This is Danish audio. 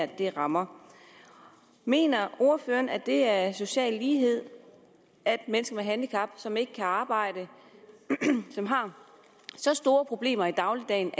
det her rammer mener ordføreren at det er social lighed at mennesker med et handicap som ikke kan arbejde og som har store problemer i dagligdagen